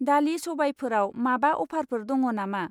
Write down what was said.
दालि सबायफोराव माबा अफारफोर दङ नामा?